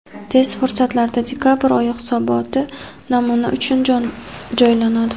Tez fursatlarda dekabr oyi hisoboti namuna uchun joylanadi.